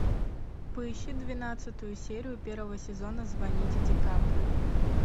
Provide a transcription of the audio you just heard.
поищи двенадцатую серию первого сезона звоните дикаприо